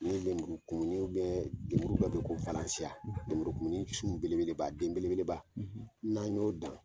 Ni lemuru kumuni lemuru dɔ bɛ ye bɛ ko lemuru kumuni sun bele beleba den bele beleba n'an y'o dan.